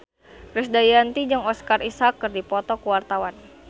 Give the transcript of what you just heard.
Krisdayanti jeung Oscar Isaac keur dipoto ku wartawan